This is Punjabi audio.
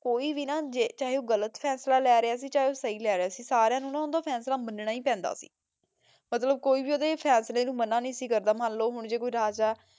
ਕੋਈ ਵੀ ਨਾ ਜੇ ਚਾਹੀ ਊ ਗਲਤ ਫੈਸਲਾ ਲੇ ਰਾਯ ਸੀ ਚਾਹੀ ਊ ਸੀ ਫੈਸਲਾ ਲੇ ਰਯ ਸੀ ਸਾਰੀਆਂ ਨੂ ਨਾ ਓਨ੍ਦਾ ਫੈਸਲਾ ਮਨ੍ਨਾ ਈ ਪੈਂਦਾ ਸੀ ਮਤਲਬ ਕੋਈ ਵੀ ਓਦੇ ਫੈਸਲੇ ਨੂ ਮਨਾ ਨਾਈ ਸੀ ਕਰਦਾ ਮੰਲੋ ਜੇ ਕੋਈ ਰਾਜਾ